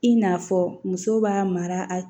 I n'a fɔ muso b'a mara a